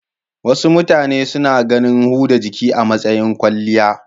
Wasu mutane suna ganin huda jiki a matsayin kwalliya.